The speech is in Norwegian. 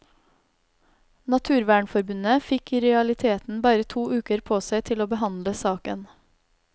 Naturvernforbundet fikk i realiteten bare to uker på seg til å behandle saken.